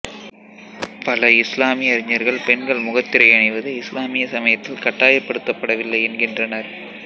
பல இசுலாமிய அறிஞர்கள் பெண்கள் முகத்திரை அணிவது இசுலாமிய சமயத்தில் கட்டாயப்படுத்தப்படவில்லை என்கின்றனர்